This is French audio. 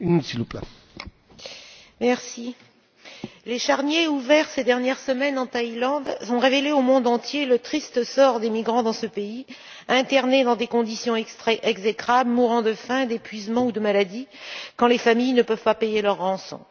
Monsieur le Président, les charniers ouverts ces dernières semaines en Thaïlande ont révélé au monde entier le triste sort des migrants dans ce pays, internés dans des conditions exécrables, mourant de faim, d'épuisement ou de maladie, quand les familles ne peuvent pas payer leur rançon.